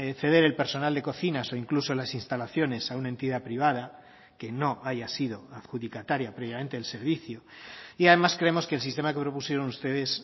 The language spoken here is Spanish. ceder el personal de cocinas o incluso las instalaciones a una entidad privada que no haya sido adjudicataria previamente el servicio y además creemos que el sistema que propusieron ustedes